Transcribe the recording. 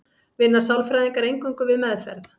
Vinna sálfræðingar eingöngu við meðferð?